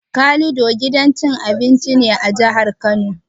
Calido gidan cin abinci ne a jihar Kano.